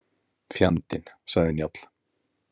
Fjandinn, sagði Njáll.